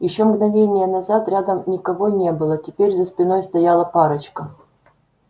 ещё мгновение назад рядом никого не было теперь за спиной стояла парочка